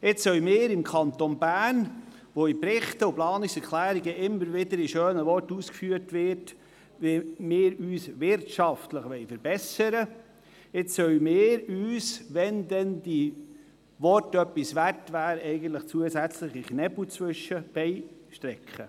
Nachdem in Berichten und Planungserklärungen immer wieder in schönen Worten ausgeführt wurde, wie wir uns wirtschaftlich verbessern wollen, wollen wir uns jetzt im Kanton Bern zusätzliche Knüppel zwischen die Beine werfen!